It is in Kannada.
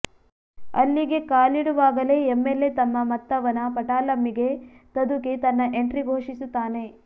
ಅಲ್ಲಿಗೆ ಕಾಲಿಡುವಾಗಲೇ ಎಂಎಲ್ಎ ತಮ್ಮ ಮತ್ತವನ ಪಟಾಲಮ್ಮಿಗೆ ತದುಕಿ ತನ್ನ ಎಂಟ್ರಿ ಘೋಷಿಸುತ್ತಾನೆ